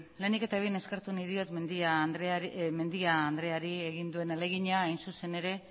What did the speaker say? lehenik eta behin eskertu nahi diot mendia andreari egin duen ahalegina hain zuzen ere